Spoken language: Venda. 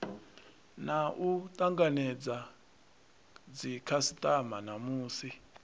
na u takadza dzikhasitama namusi